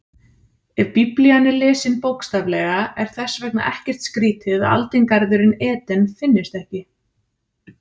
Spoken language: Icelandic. Ef Biblían er lesin bókstaflega er þess vegna ekkert skrýtið að aldingarðurinn Eden finnist ekki.